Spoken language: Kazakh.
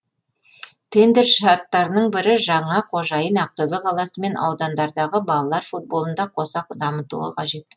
тендер шарттарының бірі жаңа қожайын ақтөбе қаласы мен аудандардағы балалар футболын да қоса дамытуы қажет